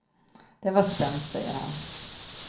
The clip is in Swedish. Det var spänt, säger han.